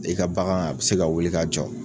I ka bagan a bi se ka wuli ka jɔ